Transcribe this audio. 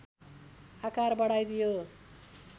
आकार बढाइदियो